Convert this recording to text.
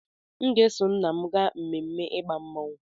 M ga-eso nna m gaa ememme ịgba mmọnwụ.